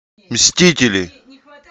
мстители